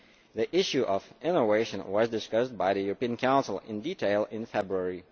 The issue of innovation was discussed by the European Council in detail in February.